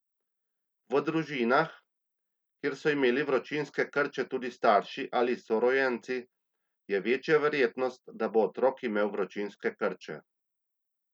V družinah, kjer so imeli vročinske krče tudi starši ali sorojenci, je večja verjetnost, da bo otrok imel vročinske krče.